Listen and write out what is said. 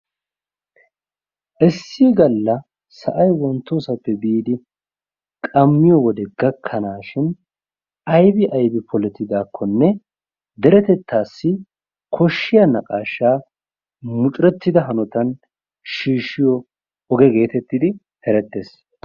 issi galla sa'ay wontoosappe biidi qammiyode gakkanashin aybbi aybbi poletidaakonne deretettaassi koshiyaa naqaashaa muccurettida hanotan shiishiyo oge geetettidi erettees.